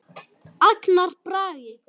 Agnar Bragi.